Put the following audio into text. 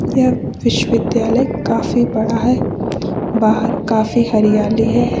यह विश्वविद्यालय काफी बड़ा है बाहर काफी हरियाली है।